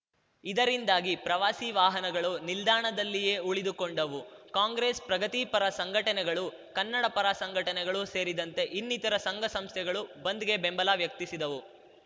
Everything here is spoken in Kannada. ಇದರಿಂದಾಗಿ ಪ್ರವಾಸಿ ವಾಹನಗಳು ನಿಲ್ದಾಣದಲ್ಲಿಯೇ ಉಳಿದುಕೊಂಡವು ಕಾಂಗ್ರೆಸ್‌ ಪ್ರಗತಿಪರ ಸಂಘಟನೆಗಳು ಕನ್ನಡಪರ ಸಂಘಟನೆಗಳು ಸೇರಿದಂತೆ ಇನ್ನಿತರ ಸಂಘಸಂಸ್ಥೆಗಳು ಬಂದ್‌ಗೆ ಬೆಂಬಲ ವ್ಯಕ್ತಿಸಿದವು